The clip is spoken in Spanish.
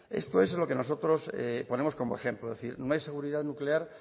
esto es lo que nosotros ponemos como ejemplo no hay seguridad nuclear